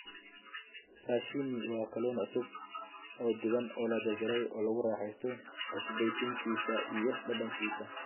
Sashimi waa kalluun cusub oo dhuuban oo la jarjaray, oo lagu raaxaysto cusbayntiisa iyo dhadhankiisa.